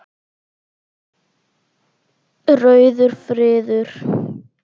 Rauður friður